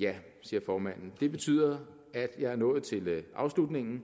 ja siger formanden det betyder at jeg er nået til afslutningen